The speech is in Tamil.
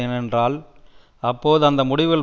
ஏனென்றால் அப்போது அந்த முடிவுகள்